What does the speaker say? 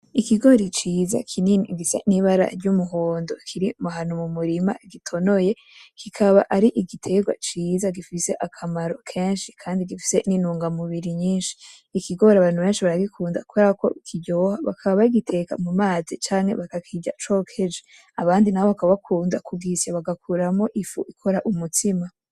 Ikigori ciza kinini gisa n’ibara ry’umuhondo kiri ahantu mu murima gitonoye , kikaba ari igiterwa ciza gifise akamaro kenshi kandi gifise intungamubiri nyinshi. Ikigori abantu benshi baragikunda kubera ko kiryoha bakaba bagiteka mu mazi canke bakakirya cokeje abandi nabo bakaba bakunda kugisya bagakuramwo ifu ikora umutsima.